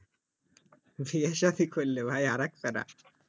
বিয়ে সাধি করলে ভাই আর একটা